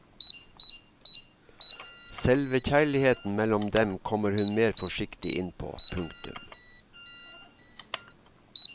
Selve kjærligheten mellom dem kommer hun mer forsiktig inn på. punktum